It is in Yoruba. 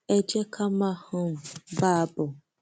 ẹ jẹ ká máa um bá a bọ